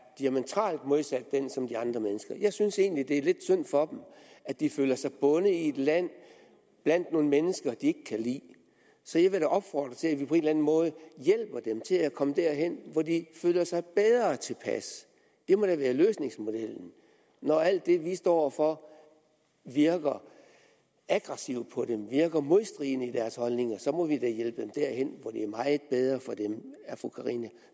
diametralt modsat den som de andre mennesker jeg synes egentlig det er lidt synd for dem at de føler sig bundet i et land blandt nogle mennesker de ikke kan lide så jeg vil da opfordre til at vi på en eller anden måde hjælper dem til at komme derhen hvor de føler sig bedre tilpas det må da være løsningsmodellen når alt det vi står for virker aggressivt på dem virker modstridende i deres holdninger så må vi da hjælpe dem derhen hvor der er meget bedre for dem er fru karina